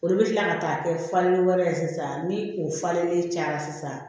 Olu bɛ kila ka taa kɛ falenni wɛrɛ ye sisan ni o falennen cayara sisan